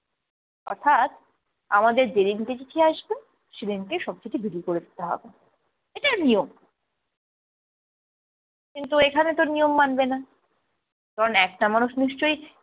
অর্থাৎ আমাদের যেদিনকে চিঠি আসবে সেদিনকে সব কিছু বিলি করে দিতে হবে, এটা নিয়ম। কিন্তু এখানে তো নিয়ম মানবে না কারণ একটা মানুষ নিশ্চই